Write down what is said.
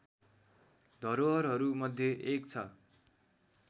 धरोहरहरू मध्ये एक छ